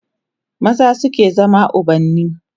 maza suke zama ubanni